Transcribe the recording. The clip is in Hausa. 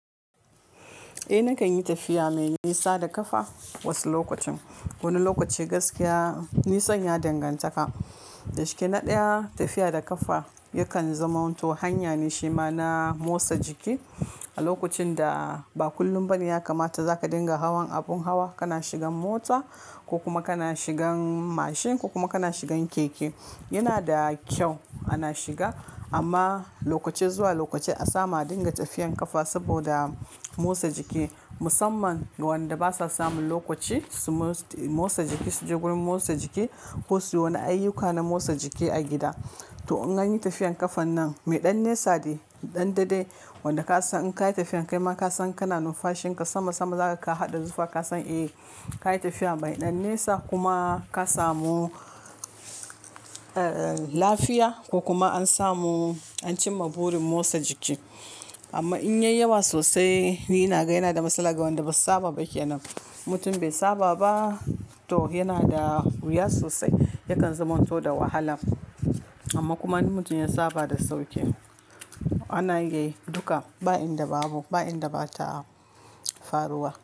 Eh nakan yi tafiya mai nisa da ƙafa wasu lokacin. Wani lokaci gaskiya nisan ya danganta ka. Dashikenan na ɗaya tafiya da ƙafa yakan zama to hanya ne shima na motsa jiki a lokacin da ba kullum bane ya kamata za ka dinga hawan abun hawa, kana shigan mota ko kuma kana shigan mashin ko kuma kana shigan keke. Yana da kyau ana shiga amma lokaci zuwa lokaci a samu a dinga tafiyan ƙafa saboda motsa jiki. Musamman ga waɗanda basa samun lokaci su motsa jiki su je wurin motsa jiki ko su yi wani ayyuka na motsa jiki a gida. To in an yi tafiyan ƙafa nan me ɗan nisa ne, ɗan daɗe wanda ka san in ka yi tafiyan kai ma ka san kana numfashin ka sama sama za ka haɗa zuɓa ka san eh ka yi tafiya mai ɗan nisa kuma ka samu, eh lafiya ko kuma an samu an cimma burin motsa jiki. Amma in yayi yawa sosai ni inaga yana da matsala ga wanda bai saba ba ke nan. Mutum bai saba ba to yana da wuya sosai yakan zama to da wahala. Amma kuma in mutum ya saba da sauƙi ana yi duka ba inda babu ba inda bata faruwa.